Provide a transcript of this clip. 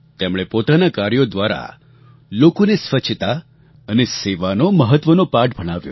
તેમણે પોતાનાં કાર્યો દ્વારા લોકોને સ્વચ્છતા અને સેવાનો મહત્ત્વનો પાઠ ભણાવ્યો